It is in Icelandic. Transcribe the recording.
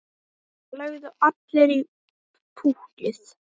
Það lögðu allir í púkkið.